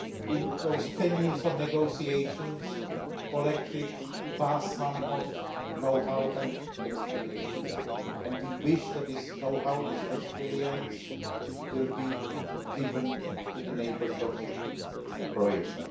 In those ten years of negotiations, Croatia collected a vast amount of know how and experience and we hope that this know how and experience will be given to the neighbours of Croatia.